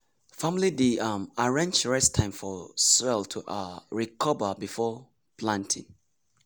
family dey um arrange rest time for soil to um recover between planting.